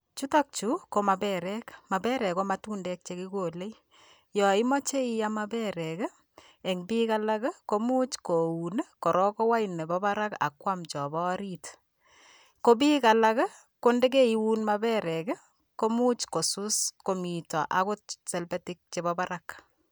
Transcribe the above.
Chutokchu ko maperek. Maperek ko matundek chekikole. Yoimoche iam maperek, eng biik alak, komuch koun korok kowai nepo barak ak kwam chopo orit. Ko biik alak, ko ndekeiun maperek, komuch kosus komito akot selpetik chepo barak.